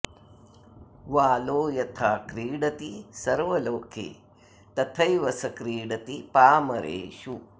वालो यथा क्रीडति सर्वलोके तथैव स क्रीडति पामरेषु